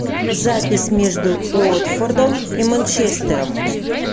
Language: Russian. запись между уотфордом и манчестером